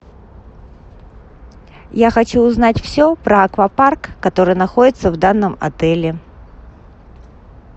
я хочу узнать все про аквапарк который находится в данном отеле